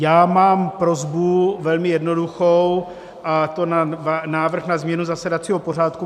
Já mám prosbu, velmi jednoduchou, a to návrh na změnu zasedacího pořádku.